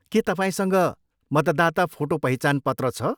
के तपाईँसँग मतदाता फोटो पहिचान पत्र छ?